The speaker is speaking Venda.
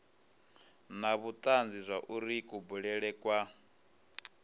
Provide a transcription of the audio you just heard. na vhutanzi zwauri kubulele kwa